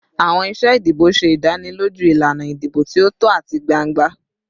Awọn iṣe idibo ṣe idaniloju ilana idibo ti o tọ ati gbangba